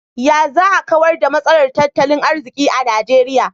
Ya za a kawar da matsalar tattalin arziki a Nigeria?